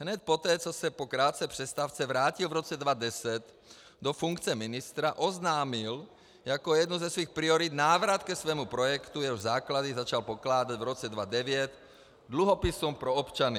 Hned poté, co se po krátké přestávce vrátil v roce 2010 do funkce ministra, oznámil jako jednu ze svých priorit - návrat ke svému projektu, jehož základy začal pokládat v roce 2009 dluhopisům pro občany.